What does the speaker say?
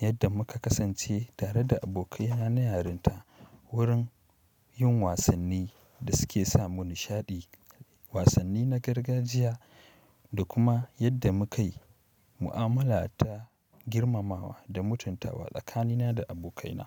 yadda muka kasance tare da abokaina na yarinta wurin yin wasanni da suke sa mu nishaɗi, wasanni na gargajiya da kuma yadda mukai mu'amala ta girmamawa da mutuntawa tsakanina da abokaina.